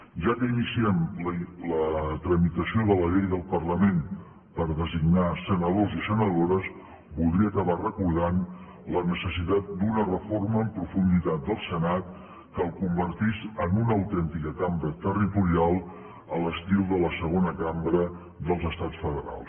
ja que iniciem la tramitació de la llei del parlament per designar senadors i senadores voldria acabar recordant la necessitat d’una reforma en profunditat del senat que el convertís en una autèntica cambra territorial a l’estil de la segona cambra dels estats federals